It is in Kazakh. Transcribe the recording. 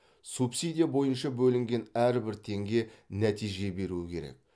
субсидия бойынша бөлінген әрбір теңге нәтиже беруі керек